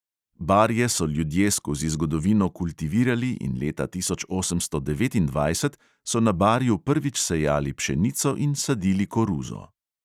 Barje so ljudje skozi zgodovino kultivirali in leta tisoč osemsto devetindvajset so na barju prvič sejali pšenico in sadili koruzo.